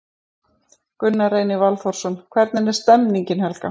Gunnar Reynir Valþórsson: Hvernig er stemningin Helga?